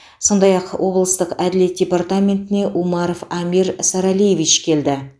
сондай ақ облыстық әділет департаментіне умаров амир саралиевич келді